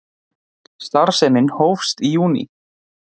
Starfsemin hófst í júní